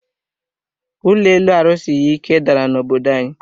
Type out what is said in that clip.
Ụlọ elu a rusighi ike dàrà na obodo anyi